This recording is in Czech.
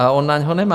A on na něj nemá.